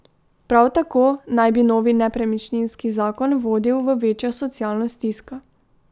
Prav tako naj bi novi nepremičninski zakon vodil v večjo socialno stisko.